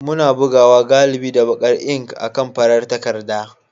Muna bugawa galibi da baƙar ink akan farar takarda.